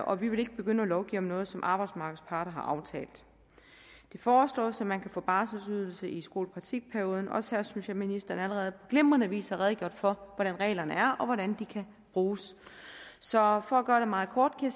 og vi vil ikke begynde at lovgive om noget som arbejdsmarkedets parter har aftalt det foreslås at man kan få barselsydelse i skolepraktikperioden og også her synes jeg ministeren allerede på glimrende vis har redegjort for hvordan reglerne er og hvordan de kan bruges så for at gøre det meget kort kan